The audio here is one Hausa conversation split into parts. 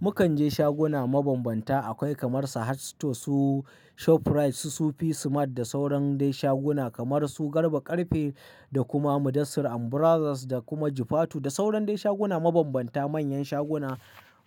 Mukan je shaguna mabambanta, akwai kamar Sahad Store, su Shoprite, su Sufi Smart, da sauran dai shaguna, kamar su Garba Ƙarfe, da kuma Mudassir and Brothers da kuma Jifatu da sauran dai shaguna mabambanta manyan shaguna,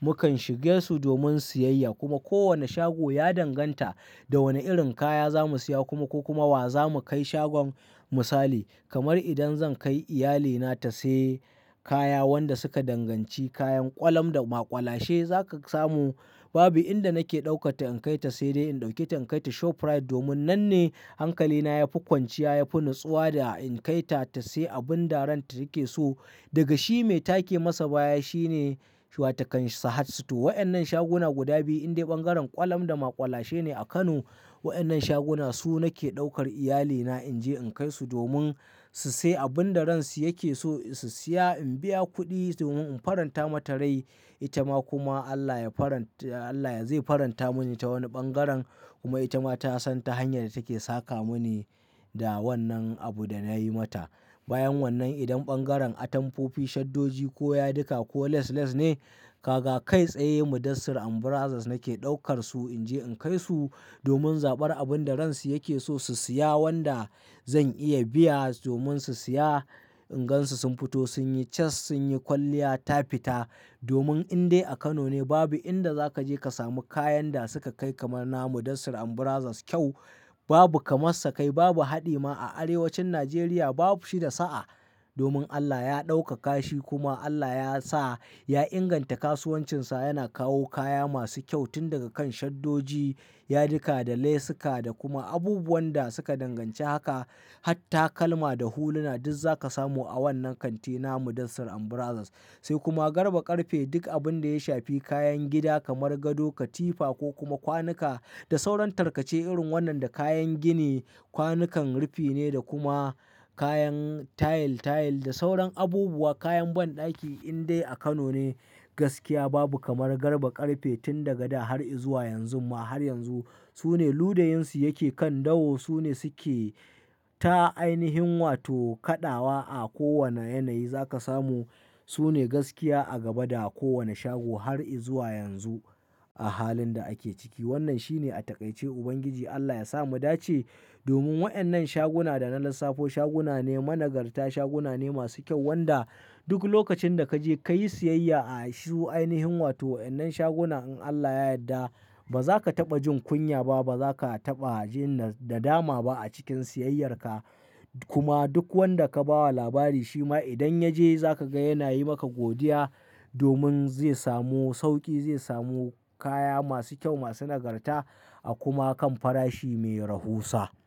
Mukan shige su domin siyayya, kuma kowane shago ya danganta, da wane irin kaya za mu siya, kuma ko kuma wa za mu kai shagon misali. Kamar idan zan kai iyalina, ta sai kaya wanda suka danganci kayan ƙwalam da maƙwalashe, zaka samu Babu inda nake ɗaukatta in kai ta, sai dai in ɗauke ta in kai ta Shoprite domin nan ne hankalina ya fi kwanciya, ya fi natsuwa da in kai ta ta sai abun da ran ta yake so, Daga shi, me take masa baya shine shu watakan Sahad Store. Waƴannan shaguna guda biyu indai ɓangaren kwalam da maƙwalashe ne a Kano, Waƴannan shaguna, su nake ɗaukar iyalina in je in kai su domin, su sai abin da ransu yake so su siya, in biya kuɗi domin in faranta mata rai, Ita ma kuma Allah ya faranta, Allah zai faranta min ta wani ɓangaren, kuma ita ma ta san ta hanyar da take saka mini da wannan abu da nayi mata. Bayan wannan idan ɓangaren atamfofi, shaddoji ko yadika ko lace lace ne, kaga, kai tsaye Mudassir and Brothers nake ɗaukar su, Inje in kai su, domin zaɓar abin da ransu yake so su siya, wanda zan iya biya, domin su siya, In gansu sun fito, sun yi cas, sun yi kwalliya ta fita. Domin indai a Kano ne babu inda zaka je ka samu kayan da suka kai kamar na Mudassir and Brothers kyau. Babu kamassa kai, babu haɗi ma a arewacin Najeriya babu shi da sa'a. Domin Allah ya ɗaukaka shi kuma Allah ya sa ya inganta kasuwancinsa, yana kawo kaya masu kyau, tun daga kan shaddoji, yadika da lasika da kuma abubuwan da suka danganci haka, hat takalma da huluna, duk zaka samu a wannan kanti na Mudassir and Brothers. Sai kuma Garba Ƙarfe duk abin da ya shafi kayan gida kamar gado, katifa ko kuma kwanuka da sauran tarkace irin wannan da kayan gini, kwanukan rufi ne da kuma, kayan tile-tile da sauran abubuwa, kayan banɗaki indai a Kano ne, gaskiya babu kamar Garba Karfe, tun daga da har izuwa yanzun ma har yanzu, Sune ludayunsu yake kan dauwa, su ne suke ta ainihin wato kaɗawa a kowane yanayi zaka samu, Sune gaskiya a gaba da, kowane shago har izuwa yanzu. A halin da ake ciki. Wannan shine a taƙaice, Uban giji Allah ya sa mu dace, domin waƴannan shaguna da na lissafo, shaguna ne, managarta shaguna ne masu kyau, wanda, duk lokacin da kaje kayi siyayya a shi ainihin wato waƴannan shaguna, in Allah ya yadda ba za ka taɓa jin kunya ba, ba za ka taɓa jin da dama ba, a cikin siyayyar ka. Kuma, duk wanda ka bawa labari shima idan ya je za ka ga yana yi maka godiya, domin, zai samu sauƙi, zai samu kaya masu kyau, masu nagarta, a kuma kan farashi mai rahusa.